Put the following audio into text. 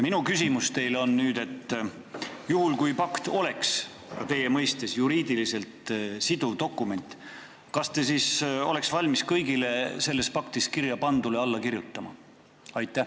Minu küsimus teile on selline: kui rändepakt oleks teie mõistes juriidiliselt siduv dokument, kas te siis oleks valmis kõigele sellesse pakti kirjapandule alla kirjutama?